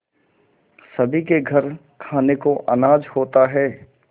सभी के घर खाने को अनाज होता है